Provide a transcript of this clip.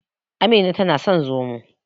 Amina na son Zomo.